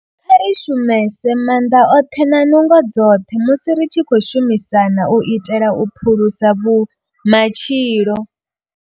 Kha ri shumise maanḓa oṱhe na nungo dzoṱhe musi ri tshi khou shumisana u itela u phulusa matshilo.